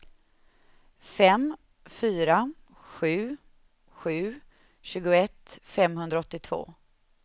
fem fyra sju sju tjugoett femhundraåttiotvå